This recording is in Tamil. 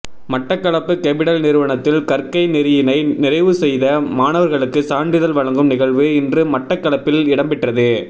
மட்டக்களப்பு கெபிடல் நிறுவனத்தில் கற்கை நெறியினை நிறைவு செய்த மாணவர்களுக்கு சான்றிதழ் வழங்கும் நிகழ்வு இன்று மட்டக்களப்பில் இடம்பெற்றது